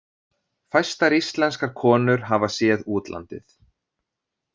Fæstar íslenskar konur hafa séð útlandið.